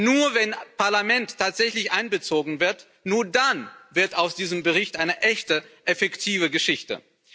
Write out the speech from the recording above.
Nur wenn ein Parlament tatsächlich einbezogen wird, nur dann wird aus diesem Bericht eine echte effektive Geschichte.